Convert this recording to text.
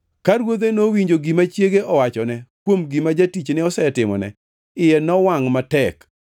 Ka ruodhe nowinjo gima chiege owachone kuom gima jatichne osetimone, iye nowangʼ matek.